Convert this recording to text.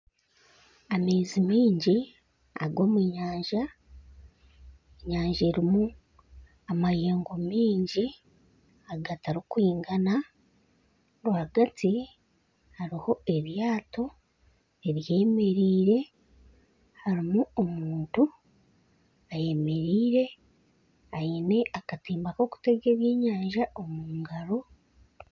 Amaizi maingi ag'omunyanja. Enyanja erimu amayengo mingi agatarikwingana. Rwagati hariho eryato eryemereire harimu omuntu ayemereire aine akatimba kokutega ebyenyanja omu ngaro.